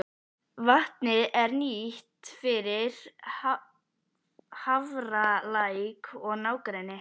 Vatnið er nýtt fyrir Hafralæk og nágrenni.